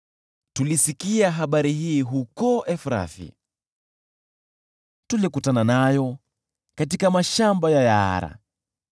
Tulisikia habari hii huko Efrathi, tulikutana nayo katika mashamba ya Yaara: